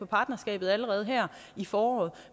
partnerskabet allerede her i foråret